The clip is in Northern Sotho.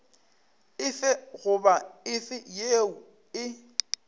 efe goba efe yeo e